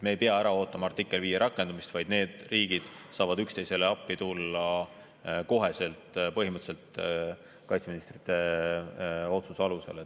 Me ei pea ära ootama artikli 5 rakendamist, vaid need riigid saavad üksteisele appi tulla põhimõtteliselt kohe kaitseministrite otsuse alusel.